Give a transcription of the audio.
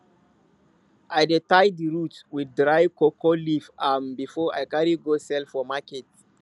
i dey tie the roots with dry cocoa leaf um before i carry go sell for market